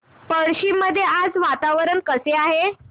पळशी मध्ये आज वातावरण कसे आहे